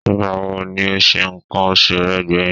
Ìgbà wo ni o se nǹkan oṣù rẹ gbẹ̀yìn?